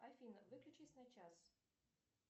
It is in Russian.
афина выключись на час